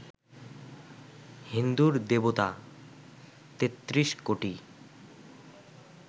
হিন্দুর দেবতা তেত্রিশ কোটি